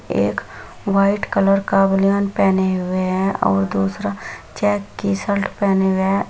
एक white colour का बनियान पहने हुए हैं और दूसरा चेक की शर्ट पहने हुए हैं ।